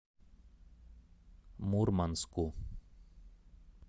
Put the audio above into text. мурманску